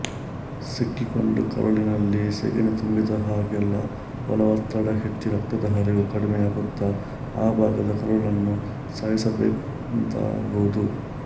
ಸಿಕ್ಕಿಕೊಂಡ ಕರುಳಿನಲ್ಲಿ ಸೆಗಣಿ ತುಂಬಿದ ಹಾಗೆಲ್ಲ ಒಳ ಒತ್ತಡ ಹೆಚ್ಚಿ ರಕ್ತದ ಹರಿವು ಕಡಿಮೆಯಾಗುತ್ತ ಆ ಭಾಗದ ಕರುಳನ್ನು ಸಾಯಿಸಿದಂತಾಗುವುದು